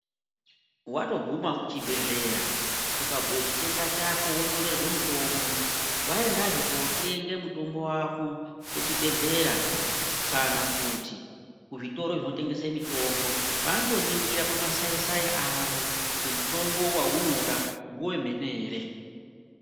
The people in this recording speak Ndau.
Watoguma kuchibhedhlera ukabhuya chitenda chako wonyorerwa mutombo waendazve kotenga mutombo wako kuchibhedhleya kana kuti kuzvitoro zvinotengeswa mitombo vanotoningira pamasaisai kuti mutombo uyu ngewemene ere.